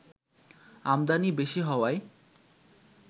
আমদানি বেশি হওয়ায়